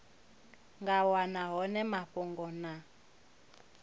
nga wana hone mafhungo na